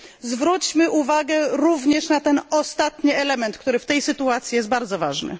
Zwróćmy uwagę również na ten ostatni element, który w tej sytuacji jest bardzo ważny.